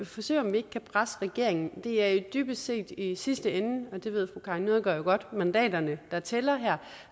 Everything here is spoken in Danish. forsøge om vi ikke kan presse regeringen det er dybest set i sidste ende det ved fru karin nødgaard jo godt mandaterne der tæller her